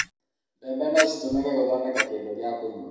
mbembe no citũmĩke gũthondeka kindũ gĩa kũnyua